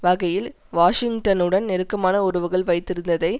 வகையில் வாஷிங்டனுடன் நெருக்கமான உறவுகள் வைத்திருந்ததை